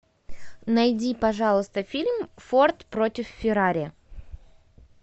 найди пожалуйста фильм форд против феррари